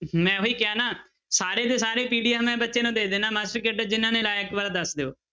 ਮੈਂ ਉਹੀ ਕਿਹਾ ਨਾ ਸਾਰੇ ਦੇ ਸਾਰੇ PDF ਮੈਂ ਬੱਚੇ ਨੂੰ ਦੇ ਦਿਨਾ ਮਾਸਟਰ ਕੇਡਰ ਜਿਹਨਾਂ ਨੇ ਲਾਇਆ ਇੱਕ ਵਾਰ ਦੱਸ ਦਿਓ।